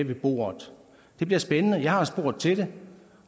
ved bordet det bliver spændende jeg har spurgt til det